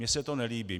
Mně se to nelíbí.